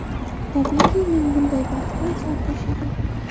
Tabiiyki, men bunday baxtdan sarxush edim.